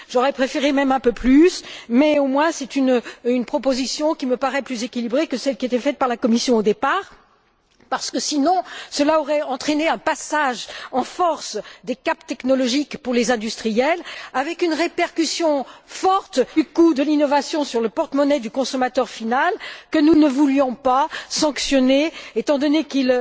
J'aurais préféré même un peu plus mais, au moins, c'est une proposition qui me paraît plus équilibrée que celle qui était faite par la Commission au départ et qui aurait entraîné un passage en force des caps technologiques pour les industriels avec une répercussion forte du coût de l'innovation sur le portemonnaie du consommateur final que nous ne voulions pas sanctionner, étant donné qu'il